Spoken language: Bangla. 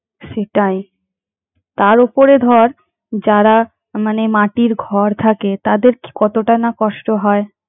সেটাই তার ওপরে ধর যারা মানে মাটির ঘর থাকে তাদের কতটাই না কষ্ট হয়।